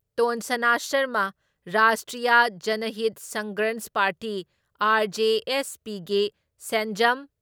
ꯇꯣꯟꯁꯅꯥ ꯁꯔꯃ, Rashtriya Janhit Sangharsh party RJSP ꯒꯤ ꯁꯦꯟꯖꯝ